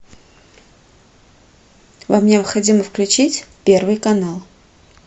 вам необходимо включить первый канал